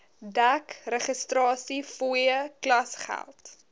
dek registrasiefooie klasgeld